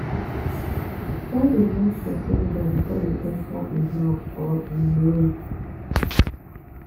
try de knock persin door before you enter in house or um room